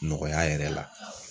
Nɔgɔya yɛrɛ la.